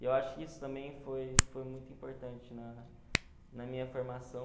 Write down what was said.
E eu acho que isso também foi foi muito importante na na minha formação.